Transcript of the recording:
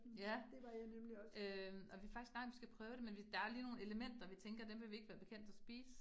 Ja, øh og vi faktisk snakket om, vi skal prøve det, men vi der lige nogle elementer, vi tænker dem vil vi ikke være bekendt at spise